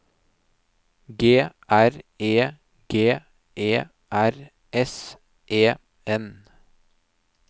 G R E G E R S E N